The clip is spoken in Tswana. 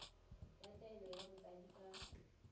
ya taolo ya botsadi ka